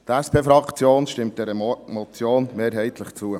Die SP-Fraktion stimmt dies er Motion mehrheitlich zu.